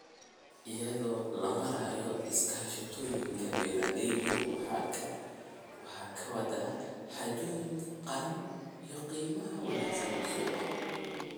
Iyadoo loo marayo iskaashatooyinka, beeralaydu waxay ka wada xaajoon karaan qiimaha ka wanaagsan suuqa.